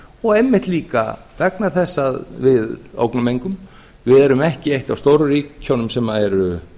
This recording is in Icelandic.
og einmitt líka vegna þess að við ógnum engum við erum ekki eitt af stóru ríkjunum sem eru